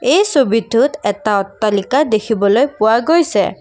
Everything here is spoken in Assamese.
এই ছবিটোত এটা অট্টালিকা দেখিবলৈ পোৱা গৈছে।